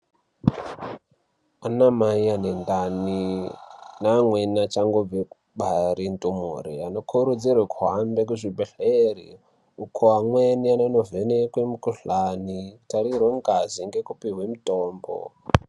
Ana mai ane ndani neamweni achangobve kubare ndumure anokurudzirwa kuhambe kuchibhedhleri uko amweni anonovhenekwa mukuhlani kutarirwa ngazi nekupuhwa mutombo